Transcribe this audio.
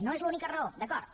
no és l’única raó d’acord